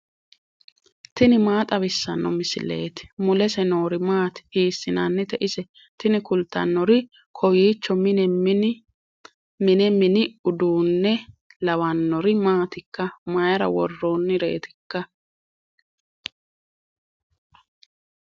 tini maa xawissanno misileeti ? mulese noori maati ? hiissinannite ise ? tini kultannori kowiicho mine mini uduunne lawannori maatikka mayra worronnireetikka